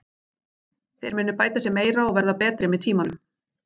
Þeir munu bæta sig meira og verða betri með tímanum.